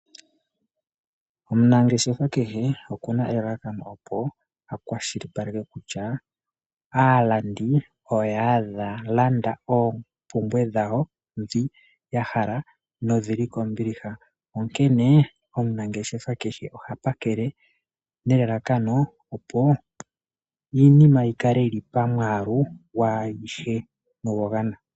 Omunangeshefa kehe okuna elalakano opo akwashilipaleke kutya aalandi oya landa oopumbwe dhawo dhi yahala nodhili kombiliha onkene omunangeshefa keshe oha pakele nelalakano opo iinima yikale yili pamwaalu yaayishe noya gwana.